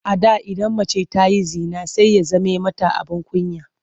A da idan mace ta yi zina sai ya zame mata abin kunya.